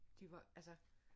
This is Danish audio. De var altså